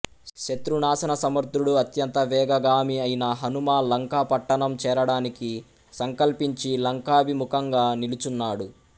శత్రు నాశన సమర్ధుడు అత్యంత వేగగామి అయిన హనుమ లంకాపట్టణం చేరడానికి సంకల్పించి లంకాభిముఖంగా నిలుచున్నాడు